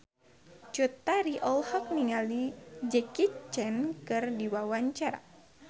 Cut Tari olohok ningali Jackie Chan keur diwawancara